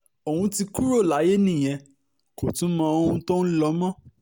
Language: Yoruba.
òun ti kúrò láyé nìyẹn kò tún mọ ohun tó ń lọ mọ́